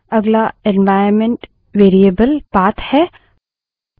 अगला environment variable path path है